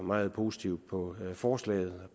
meget positivt på forslaget